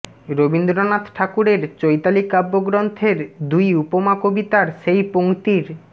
রবীন্দ্রনাথ ঠাকুরের চৈতালি কাব্যগ্রন্থের দুই উপমা কবিতার সেই পঙ্ক্তির